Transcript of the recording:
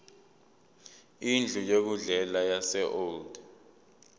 indlu yokudlela yaseold